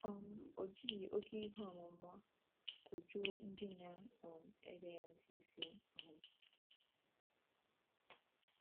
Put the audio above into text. um O jighị oké ihe ọmụma kọjuo ndị na - um ege ya ntị isi. um